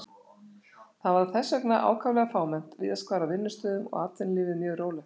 Það var þess vegna ákaflega fámennt víðast hvar á vinnustöðum og atvinnulífið mjög rólegt.